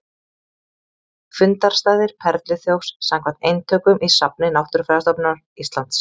Fundarstaðir perluþjófs samkvæmt eintökum í safni Náttúrufræðistofnunar Íslands.